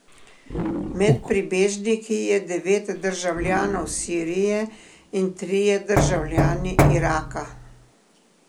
Med pribežniki je devet državljanov Sirije in trije državljani Iraka.